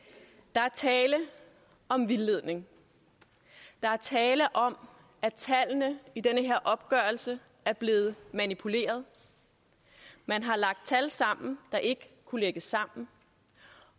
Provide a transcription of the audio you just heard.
der er tale om vildledning der er tale om at tallene i den her opgørelse er blevet manipuleret man har lagt tal sammen der ikke kunne lægges sammen